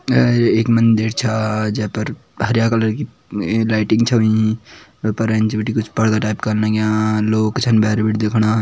य एक मंदिर छा जे पर हर्या कलर की लाइटिंग छ हुयीं वे पर एंच बटी कुछ पर्दा टाइप का लग्यां लोग छन भैर बटी देखणा।